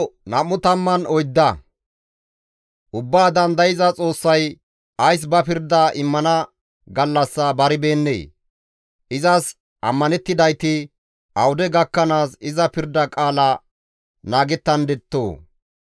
«Ubbaa Dandayza Xoossay ays ba pirda immana gallassa baribeennee? Izas ammanettidayti awude gakkanaas iza pirda qaala naagettandettoo?